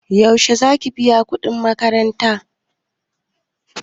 Yaushe zaki biya kuɗin makarantan ta?